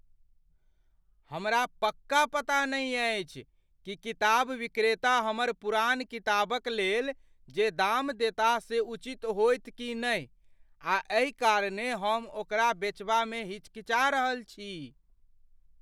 हमरा पक्का पता नहि अछि कि किताब विक्रेता हमर पुरान किताबक लेल जे दाम देताह से उचित होयत कि नहि, आ एहि कारणेँ हम ओकरा बेचबामे हिचकिचा रहल छी।